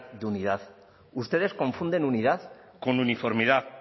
de unidad ustedes confunden unidad con uniformidad